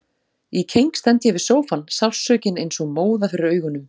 Í keng stend ég við sófann, sársaukinn eins og móða fyrir augunum.